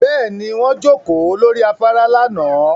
Bẹ́ẹ̀ni, wọ́n jókòó lórí afárá lánàá